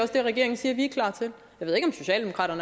det regeringen siger at vi